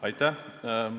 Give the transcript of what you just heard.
Aitäh!